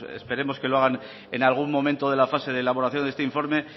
esperemos que lo hagan en algún momento de la fase de elaboración de este informe